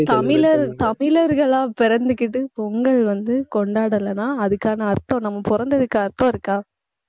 தமிழர், தமிழர்களா பிறந்துகிட்டு பொங்கல் வந்து கொண்டாடலைன்னா அதுக்கான அர்த்தம் நம்ம பொறந்ததுக்கு அர்த்தம் இருக்கா